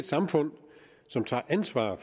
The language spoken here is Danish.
samfund som tager ansvar